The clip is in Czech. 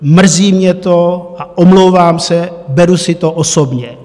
Mrzí mě to a omlouvám se, beru si to osobně.